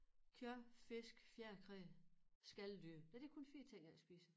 Kød fisk fjerkræ skaldyr nej det kun 4 ting jeg ikke spiser